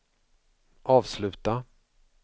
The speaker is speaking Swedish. avsluta